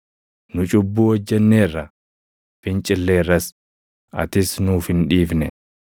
“Nu cubbuu hojjenneerra; fincilleerras; atis nuuf hin dhiifne.